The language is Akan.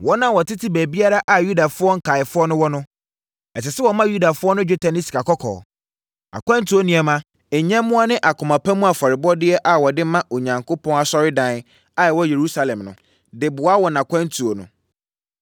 Wɔn a wɔtete baabiara a Yudafoɔ nkaeɛfoɔ no wɔ no, ɛsɛ sɛ wɔma Yudafoɔ no dwetɛ ne sikakɔkɔɔ, akwantuo nneɛma, nyɛmmoa ne akoma pa mu afɔrebɔdeɛ a wɔde ma Onyankopɔn asɔredan a ɛwɔ Yerusalem no, de boa wɔn akwantuo no.